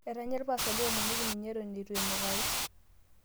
Etanya lpaastani eomonoki ninye eton eitu enukari